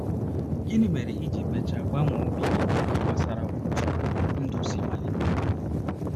Gịnị mere i ji mechaa gbanwee obi gị n’ihe gbasara otú ndụ si malite?